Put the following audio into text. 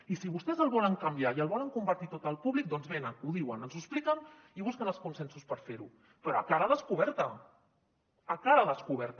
i si vostès el volen canviar i el volen convertir tot al públic doncs venen ho diuen ens ho expliquen i busquen els consensos per fer ho però a cara descoberta a cara descoberta